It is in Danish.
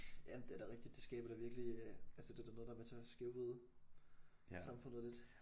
Ja det er da rigtigt det skaber da virkelig øh altså det er da noget der er med til at skævvride samfundet lidt